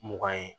Mugan ye